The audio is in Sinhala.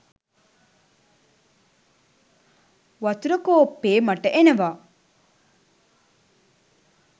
වතුර කෝප්පෙ මට එනවා.